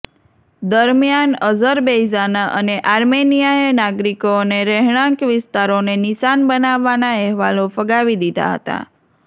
દરમ્યાન અઝરબૈઝાન અને આર્મેનિયાએ નાગરિકો અને રહેણાંક વિસ્તારોને નિશાન બનાવવાના અહેવાલો ફગાવી દીધા હતા